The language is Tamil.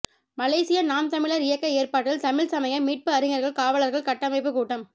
மலேசிய நாம் தமிழர் இயக்க ஏற்பாட்டில் தமிழ்ச் சமய மீட்பு அறிஞர்கள் காவலர்கள் கட்டமைப்பு கூட்டம்